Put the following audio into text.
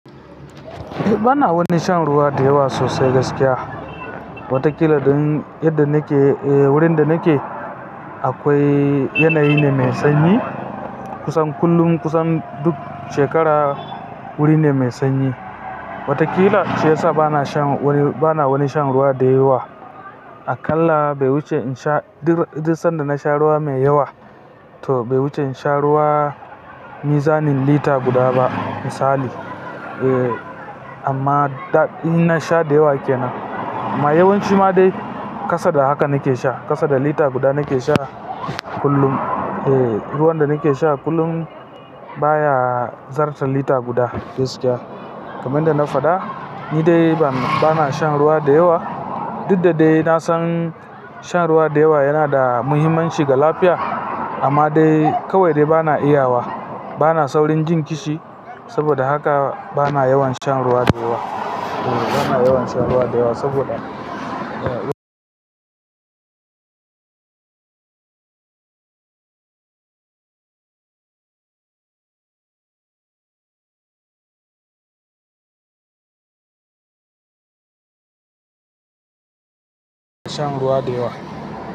Eh bana wani shan ruwa da yawa sosai gaskiya. Watakila don, yadda nake-- wurin da nake. Akwai, yanayi ne mai sanyi, kusan kullum, kusan duk shekara, wuri ne mai sanyi. Watakila, shine sa bana shan wani, bana wani shan ruwa da yawa. Akalla, bai wuce in sha, duk duk sanda na sha ruwa mai yawa, to bai wuce in sha ruwa mizanin lita guda ba misali. Eh, amma in na sha da yawa ke nan. Ma yawanci ma dai, kasa da haka nake sha. Kasa da lita guda nake sha, kullum. Eh ruwan da nake sha kullum, baya zarton lita guda gaskiya. Kamanda na faɗa, ni dai bana shan ruwa da yawa, duk da dai na san shan ruwa da yawa yana da muhimmanci ga lafiya. Amma dai, kawai dai bana iya wa. Bana saurin jin kishi, saboda haka bana yawan shan ruwa da yawa. Eh bana yawan shan ruwa da yawa saboda shan ruwa da yawa.